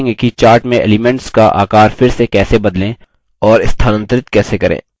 आगे हम सीखेंगे कि chart में elements का आकार फिर से कैसे बदलें और स्थानांतरित कैसे करें